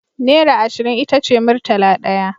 Naira ashirin itace murtala daya